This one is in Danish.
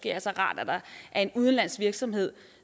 er så rart at der er en udenlandsk virksomhed